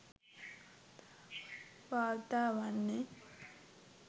වාර්තා වන්නේ.